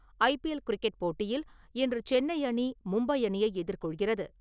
IPL cricket போட்டியில், இன்று சென்னை-அணி மும்பை-அணியை எதிர்கொள்கிறது.